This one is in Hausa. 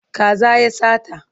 Kaza ya sata.